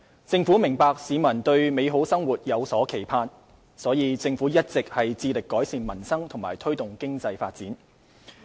政府明白市民對美好生活有所期盼，因此政府一直致力改善民生和推動經濟發展。